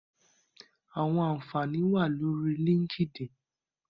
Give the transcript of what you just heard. Àwọn àǹfààní wà lórí LinkedIn.